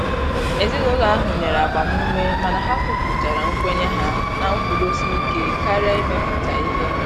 Ezinụlọ ahụ nyere agbamume mana ha kwuputara nkwenye ha na nkwụdosike karịa imepụta ihe.